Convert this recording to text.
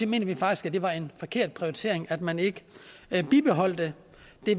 mener vi faktisk at det var en forkert prioritering at man ikke bibeholdt det